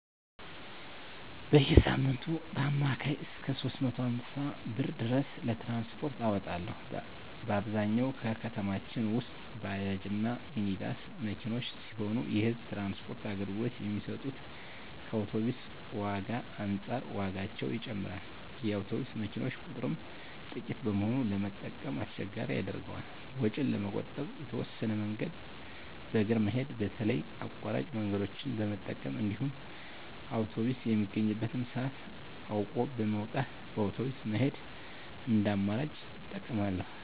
በየሳምንቱ በአማካኝ እስከ 350 ብር ድረስ ለትራንስፖርት አወጣለሁ። በአብዛኛው ከተማችን ውስጥ ባጃጅ እና ሚኒባስ መኪኖች ሲሆኑ የህዝብ ትራንስፖርት አገልግሎት የሚሰጡት ከአውቶብስ ዋጋ አንፃር ዋጋቸው ይጨምራል። የአውቶቡስ መኪኖች ቁጥርም ጥቂት በመሆኑ ለመጠቀም አስቸጋሪ ያደርገዋል። ወጪን ለመቆጠብ የተወሰነ መንገድን በእግር መሄድ በተለይ አቋራጭ መንገደኞችን በመጠቀም እንዲሁም አውቶብስ የሚገኝበትን ሰአት አውቆ በመውጣት በአውቶብስ መሄድን እንደ አማራጭ እጠቀማለሁ።